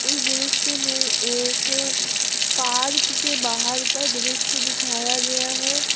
इस दृश्य में एक पार्क के बाहर का दृश्य दिखाया गया है।